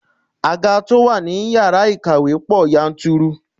Àga to wá ní ìyára ìkàwé pò yanturu.